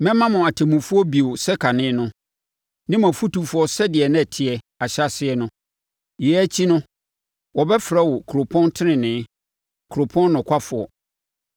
Mɛma mo atemmufoɔ bio sɛ kane no, ne mo afutufoɔ sɛdeɛ na ɛteɛ, ahyɛaseɛ no. Yei akyi no, wɔbɛfrɛ wo Kuropɔn Tenenee Kuropɔn Nokwafoɔ.”